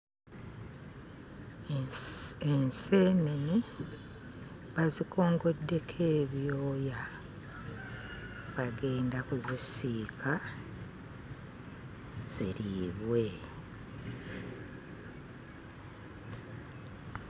Enseenene bazikongoddeko ebyoya. Bagenda kuzisiika, ziriibwe.